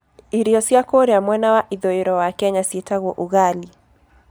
Iria cia kũrĩa mwena wa ithũĩro wa Kenya ciĩtagwo ugali.